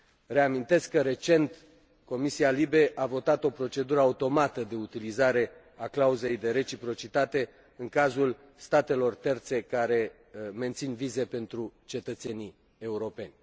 Reamintesc că recent Comisia LIBE a votat o procedură automată de utilizare a clauzei de reciprocitate în cazul statelor terțe care mențin vize pentru cetățenii europeni.